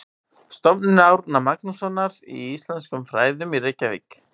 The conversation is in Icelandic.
Stofnun Árna Magnússonar í íslenskum fræðum í Reykjavík.